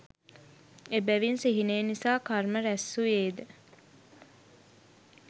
එබැවින් සිහිනය නිසා කර්ම රැස් වුයේද